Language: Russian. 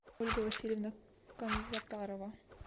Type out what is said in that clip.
ольга васильевна канзапарова